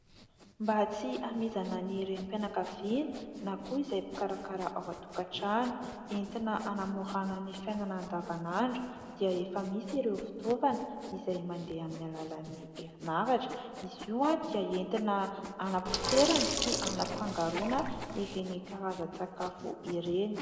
Mba tsy hamizana ny renim-pianakaviana na koa izay mpikarakara ao an-tokantrano, entina hanamorana ny fiainana andavanandro dia efa misy ireo fitaovana izay mandeha amin'ny alalan'ny herinaratra. Izy io dia entina hanapotsiarana sy hanafangaroana ireny karazan-tsakafo ireny.